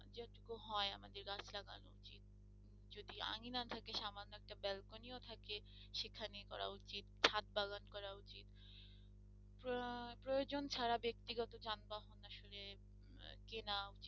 আঙিনা থাকে সামান্য একটা ব্যালকনি থাকে সেখানে করা উচিত। ছাদ বাগান করা উচিত প্রয়োজন ছাড়া ব্যাক্তিগত যানবাহন আসলে কেনা